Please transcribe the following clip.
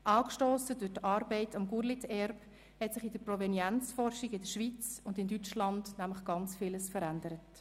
Angestossen durch die Arbeit am Gurlitt-Erbe hat sich in der Provenienzforschung in der Schweiz und in Deutschland nämlich sehr viel verändert.